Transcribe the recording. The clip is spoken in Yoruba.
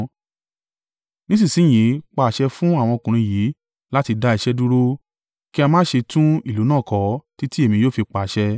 Nísinsin yìí pa àṣẹ fún àwọn ọkùnrin yìí láti dá iṣẹ́ dúró, kí a má ṣe tún ìlú náà kọ títí èmi yóò fi pàṣẹ.